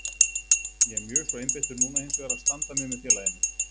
Ég er mjög svo einbeittur núna hinsvegar að standa mig með félaginu.